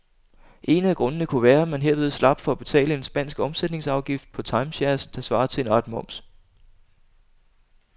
En af grundene kunne være, at man herved slap for at betale en spansk omsætningsafgift på timeshares, der svarer til en art moms.